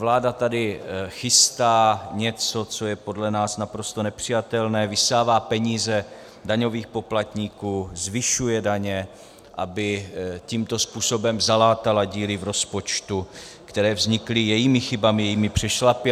Vláda tady chystá něco, co je podle nás naprosto nepřijatelné, vysává peníze daňových poplatníků, zvyšuje daně, aby tímto způsobem zalátala díry v rozpočtu, které vznikly jejími chybami, jejími přešlapy.